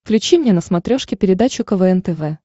включи мне на смотрешке передачу квн тв